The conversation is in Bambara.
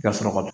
I ka sɔrɔ ka